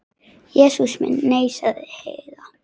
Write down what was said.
Jesús minn, nei, sagði Heiða.